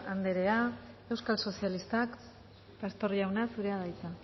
anderea euskal sozialistak pastor jauna zurea da hitza